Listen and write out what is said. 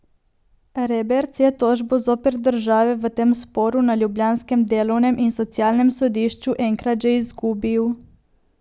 Reberc je tožbo zoper državo v tem sporu na ljubljanskem delovnem in socialnem sodišču enkrat že izgubil.